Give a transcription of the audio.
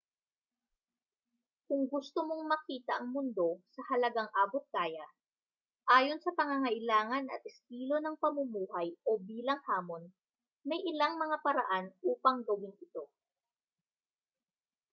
kung gusto mong makita ang mundo sa halagang abot-kaya ayon sa pangangailangan at estilo ng pamumuhay o bilang hamon may ilang mga paraan upang gawin ito